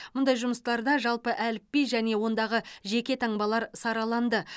мұндай жұмыстарда жалпы әліпби және ондағы жеке таңбалар сараланды